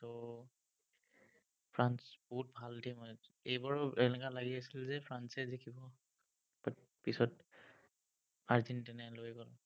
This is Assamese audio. উম ফ্ৰান্স বহুত ভাল team হয় actually এইবাৰো এনেকুৱা লাগি আছিল যে ফ্ৰান্সে জিকিব। but পিছত আৰ্জেন্টিনাই লৈ গ'ল।